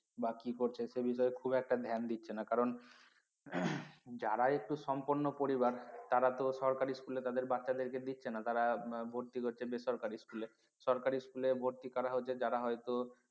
বা কি করছে সে বিষয়ে খুব একটা ধ্যান দিচ্ছে না কারণ যারা একটু সম্পন্ন পরিবার তারা তো সরকারি school এ তাদের বাচ্চাদেরকে দিচ্ছে না তারা ভর্তি করছে বেসরকারি school সরকারি school ভর্তি কারা হচ্ছে যারা হয়তো